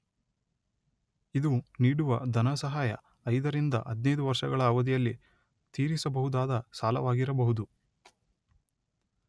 ಇದು ನೀಡುವ ಧನಸಹಾಯ ಐದರಿಂದ ಹದಿನೈದು ವರ್ಷಗಳ ಅವಧಿಯಲ್ಲಿ ತೀರಿಸಬಹುದಾದ ಸಾಲವಾಗಿರಬಹುದು.